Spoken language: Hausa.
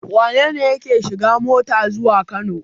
Wane ne yake shiga mota zuwa Kano?